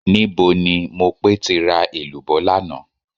Níbo ni Mopé ti ra èlùbọ́ lánàá?